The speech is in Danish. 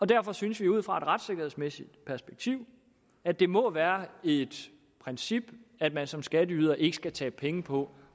derfor synes vi ud fra et retssikkerhedsmæssigt perspektiv at det må være et princip at man som skatteyder ikke skal tabe penge på